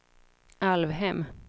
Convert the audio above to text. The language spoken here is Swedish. Alvhem